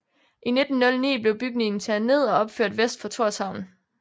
I 1909 blev bygningen taget ned og opført vest for Tórshavn